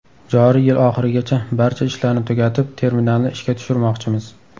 Joriy yil oxirigacha barcha ishlarni tugatib, terminalni ishga tushirmoqchimiz.